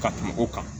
Ka tɛmɛ o kan